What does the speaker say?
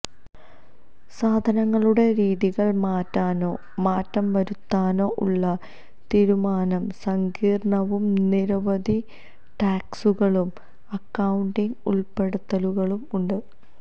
സാധനങ്ങളുടെ രീതികൾ മാറ്റാനോ മാറ്റംവരുത്താനോ ഉള്ള തീരുമാനം സങ്കീർണ്ണവും നിരവധി ടാക്സുകളും അക്കൌണ്ടിംഗ് ഉൾപ്പെടുത്തലുകളും ഉണ്ട്